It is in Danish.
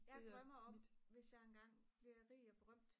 jeg drømmer om hvis jeg engang bliver rig og berømt